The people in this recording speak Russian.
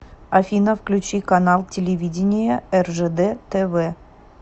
афина включи канал телевидения ржд тв